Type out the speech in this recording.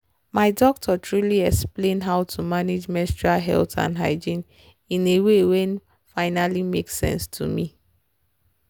my doctor truly explain how to manage menstrual health and hygiene in a way wen finally make sense to me.